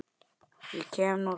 Ég kem nú samt!